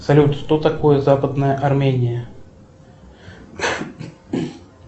салют что такое западная армения